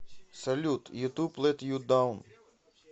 салют ютуб лет ю даун